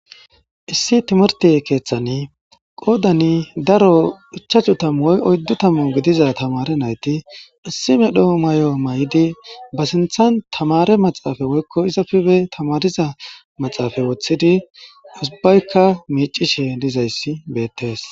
Issi timirti keeththan qoodani daro ichachu tamuoy oyddu tamu gidiza tamare nayti issi me dhoo may,o may,idi ba sinthan tamare maxaafa woykko izafibe tamariza maxaafay woththidi usubaykka miicishi dizayssi beettees.